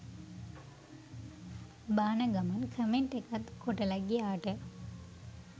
බාන ගමන් කමෙන්ට් එකක් කොටලා ගියාට